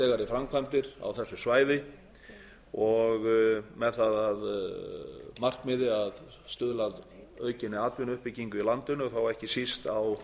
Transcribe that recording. framkvæmdir á þessu svæði með það að markmiði að stuðla að aukinni atvinnuuppbyggingu í landinu og þá ekki síst á